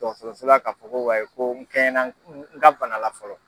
Dɔtɔrɔsola ka fɔ ko wayi ko n kɛɲɛna n n ka banala fɔlɔ.